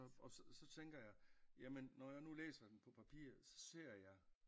Og så tænker jeg jamen når jeg nu læsen den på papir så ser jeg